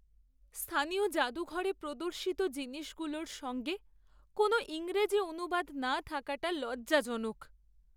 স্থানীয় জাদুঘরে প্রদর্শিত জিনিসগুলোর সঙ্গে কোনও ইংরেজি অনুবাদ না থাকাটা লজ্জাজনক।